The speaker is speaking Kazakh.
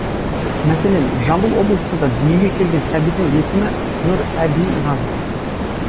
мәселен жамбыл облысында дүниеге келген сәбидің есімі нұрәбиназ